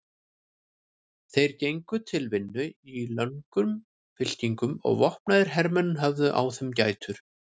Þeir gengu til vinnu í löngum fylkingum og vopnaðir hermenn höfðu á þeim gætur.